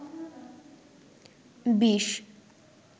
বিষ